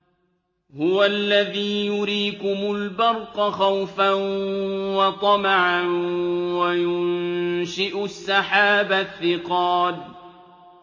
هُوَ الَّذِي يُرِيكُمُ الْبَرْقَ خَوْفًا وَطَمَعًا وَيُنشِئُ السَّحَابَ الثِّقَالَ